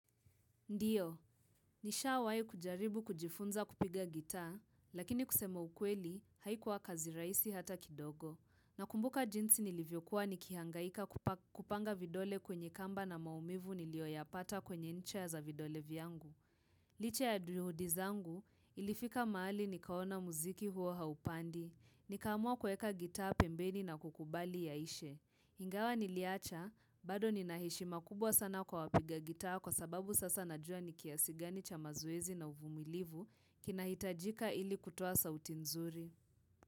Ndiyo, nishawai kujaribu kujifunza kupiga gitaa, lakini kusema ukweli, haikuwa kazi raisi hata kidogo. Nakumbuka jinsi nilivyokuwa nikihangaika kupa kupanga vidole kwenye kamba na maumivu nilioyapata kwenye ncha za vidole viangu. Licha ya duhudizangu, ilifika maali nikaona muziki huo haupandi, nikaamua kueka gitaa pembeni na kukubali ya ishe. Ingawa niliacha, bado ninaheshima kubwa sana kwa wapiga gitaa kwa sababu sasa najua nikiasi gani cha mazoezi na uvumilivu kinahitajika ili kutoa sauti nzuri.